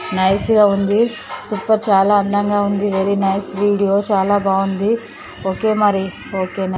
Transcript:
Nice గా ఉంది. Super చాలా అందంగా ఉంది. వెరీ నైస్ వీడియో చాలా బాగుంది. ఓకే మరి ఓకే నా.